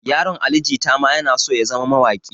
Yaron ali jita ma yana so ya zama mawaƙi